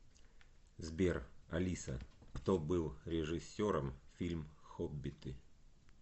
сбер алиса кто был режиссером фильм хоббиты